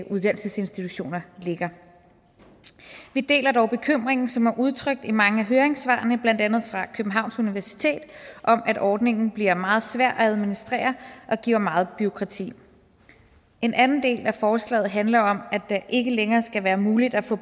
uddannelsesinstitutioner ligger vi deler dog bekymringen som er udtrykt i mange af høringssvarene blandt andet fra københavns universitet om at ordningen bliver meget svær at administrere og giver meget bureaukrati en anden del af forslaget handler om at det ikke længere skal være muligt at få